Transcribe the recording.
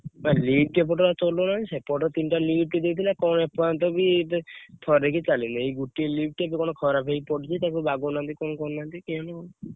Lift ଏପଟରେ ଆଉ ଚଲଉନାହାନ୍ତି ସେପଟରେ ତିନି ଟା lift ଦେଇଥିଲା କଣ ଏପର୍ଯ୍ୟନ୍ତବି ଥରେବି ଚାଲିନି ଏଇ ଗୋଟିଏ lift କଣ ଖରାପ ହେଇ ପଡିଛି ତାକୁ ବଗଉ ନାହାନ୍ତି କଣ କରୁନାହନ୍ତି କେଜାଣି ?